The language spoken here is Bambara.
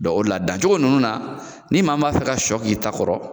o de la dan cogo ninnu na, ni maa min b'a fɛ ka sɔ k'i ta kɔrɔ,